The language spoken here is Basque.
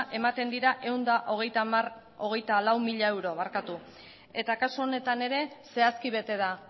ematen dira ehun eta hogeita lau mila euro eta kasu honetan ere zehazki bete da